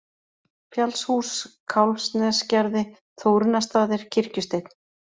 Fjallshús, Kálfsnesgerði, Þórunnarstaðir, Kirkjusteinn